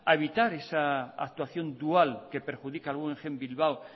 evitar esa actuación dual que perjudica al guggenheim bilbao